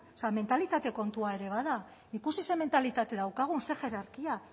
mentalitate kontua ere bada ikusi zein mentalitate daukagun zein hierarkia